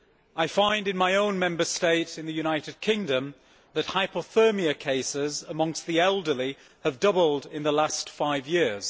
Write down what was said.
I find that in my own Member State, the United Kingdom, hypothermia cases amongst the elderly have doubled in the last five years.